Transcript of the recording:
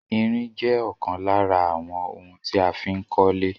Irin jẹ́ ọ̀kan lára àwọn ohun tí a fí ń kólé